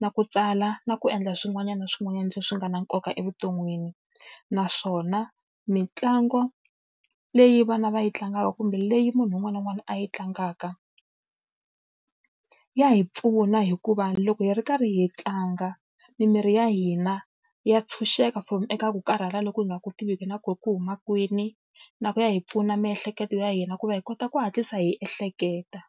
na ku tsala, na ku endla swin'wana na swin'wanyana leswi nga na nkoka evuton'wini. Naswona mitlangu leyi vana va yi tlangaka kumbe leyi munhu un'wana na un'wana a yi tlangaka, ya hi pfuna hikuva loko hi ri karhi hi tlanga mimiri ya hina ya ntshunxeka from eka ku karhala loko hi nga ku tiviki na ku ku huma kwini. Na ku ya hi pfuna miehleketo ya hina ku va hi kota ku hatlisa hi ehleketa.